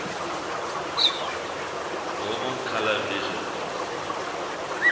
normal color vision